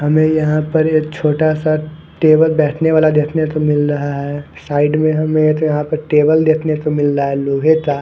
हमे यहाँ पर एक छोटासा टेबल बैठनेवाला देखने को मिल रहा है साईड में हमे यहाँ पर टेबल देखने को मिल रहा है लोहे का।